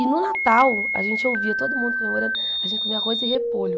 E no Natal, a gente ouvia todo mundo comemorando, a gente comia arroz e repolho.